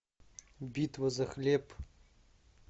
битва за хлеб